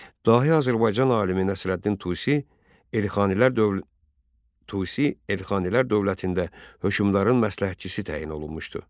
Dahi Azərbaycan alimi Nəsrəddin Tusi Elxanilər dövlətində hökmdarın məsləhətçisi təyin olunmuşdu.